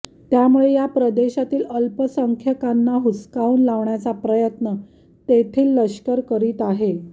त्यामुळे या प्रदेशातील अल्पंख्याकांना हुसकावून लावण्याचा प्रयत्न तेथील लष्कर करीत आहे